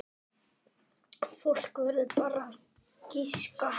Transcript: Fólk verður bara að giska.